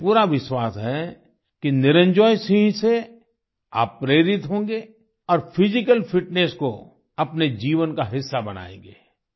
मुझे पूरा विश्वास है कि निरंजॉय सिंह से आप प्रेरित होंगे और फिजिकल फिटनेस को अपने जीवन का हिस्सा बनायेंगे